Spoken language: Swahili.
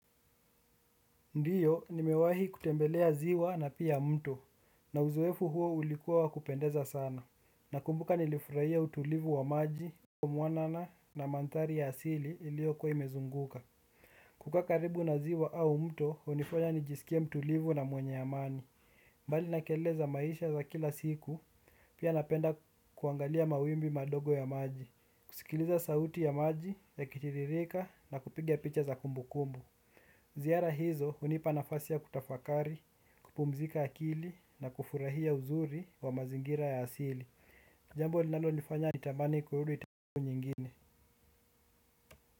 Ndiyo, nimewahi kutembelea ziwa na pia mto, na uzoefu huo ulikuwa wakupendeza sana. Nakumbuka nilifurahia utulivu wa maji mwanana na mandhari ya asili iliokuwa imezunguka. Kuka karibu na ziwa au mto, hunifanya nijisikie mtulivu na mwenye amani. Bali na kelele za maisha za kila siku, pia napenda kuangalia mawimbi madogo ya maji. Kusikiliza sauti ya maji, yakitiririka, na kupiga picha za kumbu kumbu. Ziara hizo hunipa nafasi ya kutafakari, kupumzika akili na kufurahia uzuri wa mazingira ya asili. Jambo linalo nifanya nitamani kurudi time nyingine.